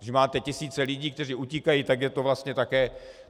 Když máte tisíce lidí, kteří utíkají, tak je to vlastně také...